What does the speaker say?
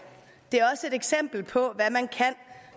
det er også et eksempel på hvad man kan